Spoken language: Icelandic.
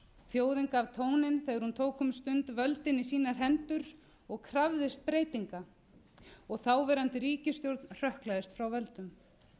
þjóðin gaf tóninn þegar hún tók um stund völdin í sínar hendur og krafðist breytinga og þáverandi ríkisstjórn hrökklaðist frá völdum